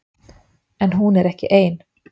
En hún er ekki ein.